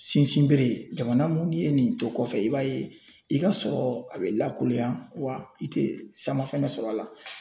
Sinsin bere ye jamana mun ye nin to kɔfɛ i b'a ye i ka sɔrɔ a bɛ lakolonya wa i tɛ sama fɛnɛ sɔrɔ a la.